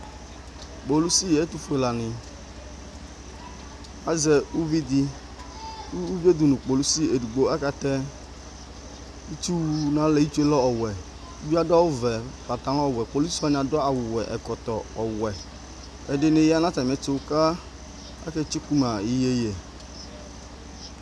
Kpolisi ɛtufuelani azɛ uvi di Uvie du nu kpolisie edigbo Akatɛ itsu nu alɛ itsue lɛ ɔwɛ Uvie adu awu vɛ pãtalɔ̃ ɔwɛ Kpolisi wani adu awu wɛ ɛkɔtɔ ɔwɛ Ɛdini ya nu atami ɛtu ku akatsuku ma iyeyui